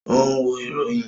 O n wo iroyin.